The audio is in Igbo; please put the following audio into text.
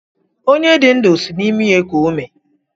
Onye dị ndụ sị na-imi eku ume.